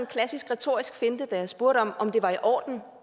klassisk retorisk finte da jeg spurgte om det var i orden